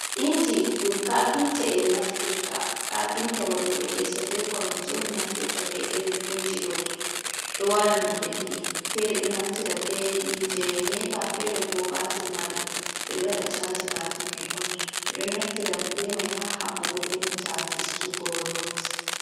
Inji ɗum kafinta en waɗoɓe leso, be koromje naftirta be irin inji do, do wara nonde ɗiɗi fere ɗo naftira be yite nepa, fere bo batir mari ɓeɗo wada chaji batir mai on bedo naftira be mai ha habbugo benanta fistugo not.